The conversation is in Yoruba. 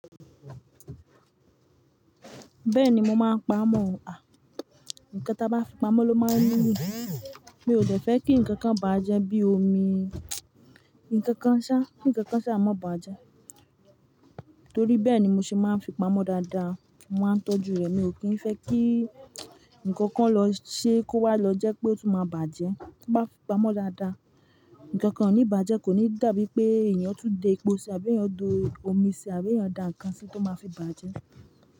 Bẹ́ẹ̀ni mo máa ń pa amọ̀, à, ǹkan tí a bá fi pamọ́ ló máa ń níyì, mi ò de fẹ́ kí ǹkan kan bàjẹ́ bí omi. Nkan kan sa, ki nkan kan sha maa ba je. Torí bẹ́ẹ̀ ni mo ṣe máa ń fi pamọ́ dáadáa, mo máa ń tọ́jú rẹ̀, mi ò kí ń fẹ́ kí ǹkan kan lọ ṣe kó wá lọ jẹ́ pé ó tún máa bàjẹ́. Ti bá fi pamọ́ dáadáa, ǹkan kan ò ní bàjẹ́, kò ní dàbí pé èeyàn tún dé epo ṣe àbí èeyàn do omi ṣe àbí èeyàn dà nǹkan sí i tó máa fi bàjẹ́.